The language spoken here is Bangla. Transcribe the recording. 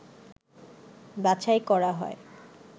বাছাই করা হয়